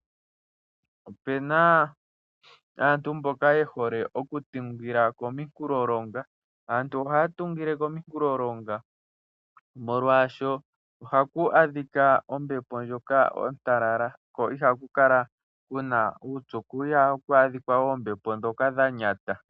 Opuna aantu mboka ye hole okutungila kominkulolonga. Aantu ohaya tungile kominkulolonga molwaasho ohaku adhika ombepo ndjoka ontalala, ko ihaku kala ku na uupyu, ko ohaku adhika oombepo ndhoka dha nyata.